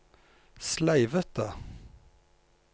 sleivete